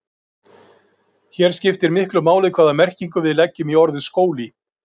Hér skiptir miklu máli hvaða merkingu við leggjum í orðið skóli.